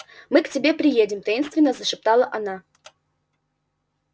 мы к тебе приедем таинственно зашептала она